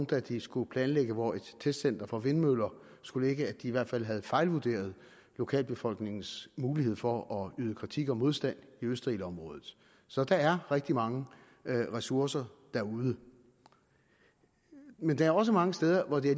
da de skulle planlægge hvor et testcenter for vindmøller skulle ligge i hvert fald havde fejlvurderet lokalbefolkningens mulighed for at yde kritik og modstand i østerildområdet så der er rigtig mange ressourcer derude men der er også mange steder hvor det